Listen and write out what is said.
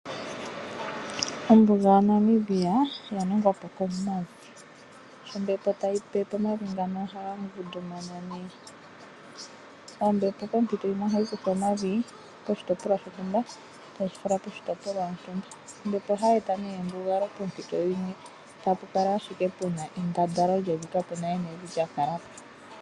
Ombuga yaNamibia oya ningwa po komavi sho ombepo tayi pepe omavi ngano ohaga ngundumana nee. Ombepo pompito yimwe ohayi kutha omavi poshitopolwa shontumba tayi fala poshitopolwa shontumba. Ombepo ohayi eta nee embugalo poompito dhimwe tapu kala ashike puna endandalo lyevi kapuna we nevi lyakala po.